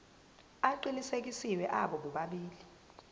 aqinisekisiwe abo bobabili